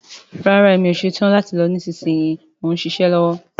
Rárá, mi ò ṣetán láti lọ nísinsìnyí, mò ń ṣiṣẹ́ lọ́wọ́